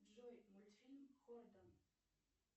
джой мультфильм хортон